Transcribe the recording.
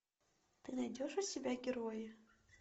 ты найдешь у себя герои